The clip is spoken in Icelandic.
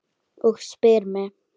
Og spyr mig